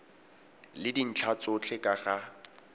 le dintlha tsotlhe ka ga